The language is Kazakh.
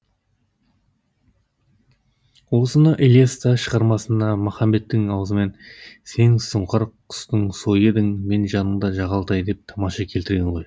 осыны ілияс та шығармасында махамбеттің аузымен сен сұңқар құстың сойы едің мен жаныңда жағалтай деп тамаша келтірген ғой